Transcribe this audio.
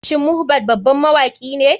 Shin mohbad baban mawakine?